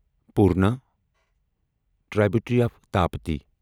Purna tributary of Tapti